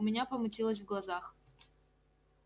у меня помутилось в глазах